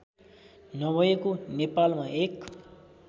नभएको नेपालमा एक